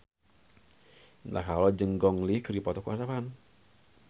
Indah Kalalo jeung Gong Li keur dipoto ku wartawan